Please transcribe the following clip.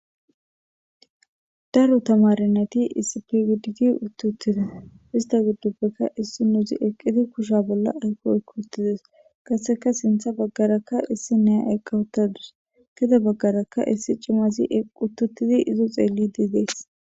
Daro tamarinati isipigidditi uttuttida ista gidduppekka issi nuuzi eqqiti kusha bolla ayqooykuttides qaseka sintha baggarakka issi nea eqqawuttadus kida baggarakka issi cimazi uttuttidi izo xeellidi dees